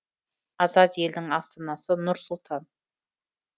азат елдің астанасы нұр сұлтан